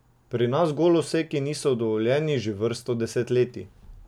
Pri nas goloseki niso dovoljeni že vrsto desetletij.